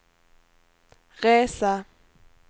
resa